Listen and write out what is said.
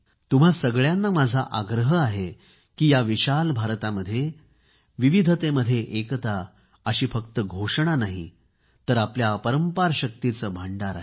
तुम्हा सगळ्यांना माझा आग्रह आहे की या विशाल भारतामध्ये विविधतेमध्ये एकता अशी फक्त घोषणा नाही आपल्या अपरंपार शक्तीचे भंडार आहे